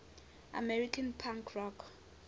american punk rock